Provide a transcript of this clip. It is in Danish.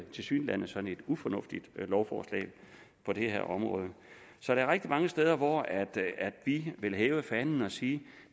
tilsyneladende ufornuftigt lovforslag på det her område så der er rigtig mange steder vi ville hæve fanen og sige